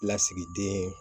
Lasigiden